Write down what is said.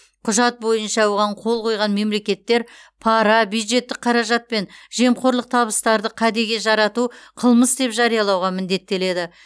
құжат бойынша оған қол қойған мемлекеттер пара бюджеттік қаражат пен жемқорлық табыстарды кәдеге жарату қылмыс деп жариялауға міндеттеледі